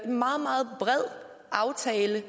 meget meget bred aftale